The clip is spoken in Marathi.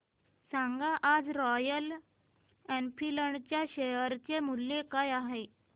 सांगा आज रॉयल एनफील्ड च्या शेअर चे मूल्य काय आहे